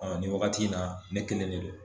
nin wagati in na ne kelen de don